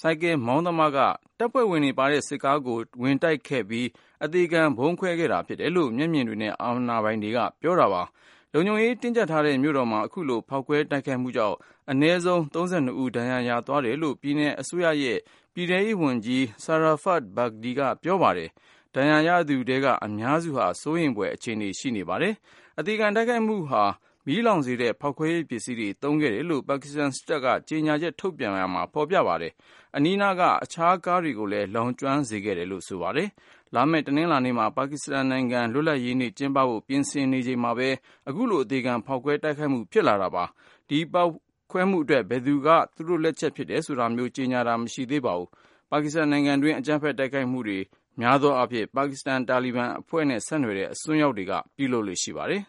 ဆိုင်ကယ်မောင်းသမားက တပ်ဖွဲ့ဝင်တွေပါတဲ့ စစ်ကားကို ဝင်တိုက်ခဲ့ပြီး အသေခံဗုံးခွဲ ခဲ့တာဖြစ်တယ်လို့ မျက်မြင်တွေနဲ့ အာဏာပိုင်တွေက ပြောတာပါ။ လုံခြုံရေး တင်းကြပ်ထားတဲ့ မြို့တော်မှာ အခုလို ဖေါက်ခွဲတိုက်ခိုက်မှုကြောင့် အနည်းဆုံးလူ(၃၂)ဦး ဒဏ်ရာရသွားတယ်လို့ ပြည်နယ်အစိုးရရဲ့ပြည်ထဲရေးဝန်ကြီး Sarafarz Bugti ကပြောပါ တယ်။ ဒဏ်ရာရသူထဲက အများစုဟာ စိုးရိမ်ဖွယ်အခြေနေ ရှိပါတယ်။ အသေခံတိုက်ခိုက်မှုဟာ မီးလောင်စေတဲ့ ဖေါက်ခွဲရေးပစ္စည်းတွေ သုံးခဲ့တယ်လို့ ပါကစ္စတန်စစ်တပ်က ထုတ်ပြန်တဲ့ကြေညာချက်မှာ ဖေါ်ပြ ထားပြီး၊ အနီနားက အခြားကားတွေကိုလဲ လောင်ကျွမ်းစေခဲ့တယ်လို့ ဆိုပါတယ်။ လာမယ့် တနင်္လာနေ့မှာ ပါကစ္စတန် လွတ်လပ်ရေးနေ့ ကျင်းပဖို့ ပြင်ဆင်နေချိန်မှာပဲ အခုလို အသေခံဖေါက်ခွဲ တိုက်ခိုက်မှု ဖြစ်လာတာပါ။ ဒီတိုက်ခိုက်မှုအတွက် ဘယ်အဖွဲ့ကမှ သူတို့လက်ချက်လို့ ကြေညာတာမျိုး မရှိသေးပါဘူး။ ပါကစ္စတန်နိုင်ငံတွင်း အကြမ်းဖက်တိုက်ခိုက်မှုတွေကို များသောအားဖြင့် ပါကစ္စတန်-တာလီဘန်အဖွဲ့နဲ့ ဆက်နွှယ်တဲ့ အစွန်းရောက်တွေက ပြုလုပ်လေ့ ရှိပါတယ်